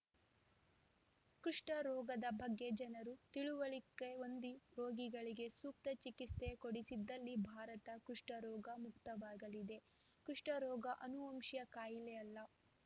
ಕುಷ್ಠ ರೋಗದ ಬಗ್ಗೆ ಜನರು ತಿಳುವಳಿಕೆ ಹೊಂದಿ ರೋಗಿಗಳಿಗೆ ಸೂಕ್ತ ಚಿಕಿತ್ಸೆ ಕೊಡಿಸಿದಲ್ಲಿ ಭಾರತ ಕುಷ್ಠರೋಗ ಮುಕ್ತವಾಗಲಿದೆ ಕುಷ್ಠರೋಗ ಅನುವಂಶೀಯ ಕಾಯಿಲೆಯಲ್ಲ